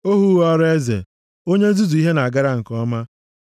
Ohu ghọrọ eze, onye nzuzu ihe na-agara nke ọma,